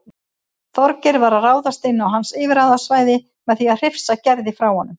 Þorgeir var að ráðast inn á hans yfirráðasvæði með því að hrifsa Gerði frá honum.